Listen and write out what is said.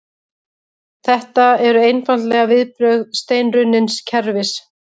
Þetta eru einfaldlega viðbrögð steinrunnins kerfis